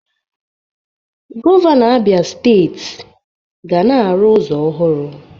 Gọvanọ Abia steeti ga na-arụ ụzọ ọhụrụ